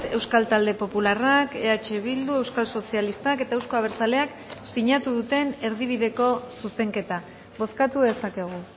euskal talde popularrak eh bildu euskal sozialistak eta euzko abertzaleak sinatu duten erdibideko zuzenketa bozkatu dezakegu